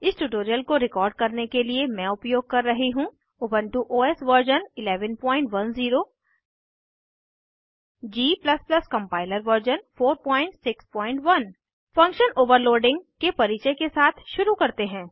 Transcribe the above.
इस ट्यूटोरियल को रिकॉर्ड करने के लिए मैं उपयोग कर रही हूँ Ubuntu OS version 1110 g compiler version 461 function overloading के परिचय के साथ शुरू करते हैं